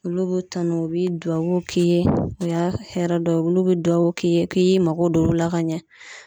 Olu b'i tanu u be duwawuw k'i ye, o y'a hɛrɛ dɔw ye olu be duwawu k'i ye k'i y'i mago don olu la ka ɲɛ.